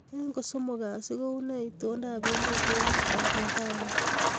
Eng kosomok kasi kounee itondoab emet eng Oklahoma